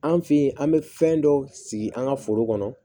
An fe yen an be fɛn dɔ sigi an ga foro kɔnɔ